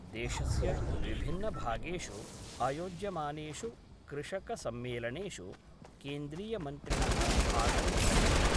देशस्य विभिन्नभागेषु आयोज्यमानेषु कृषकसम्मेलनेषु केन्द्रीयमन्त्रिणः भागं भजन्ति।